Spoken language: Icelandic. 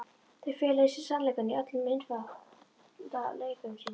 Þau fela í sér sannleikann í öllum einfaldleika sínum.